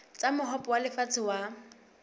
tsa mohope wa lefatshe wa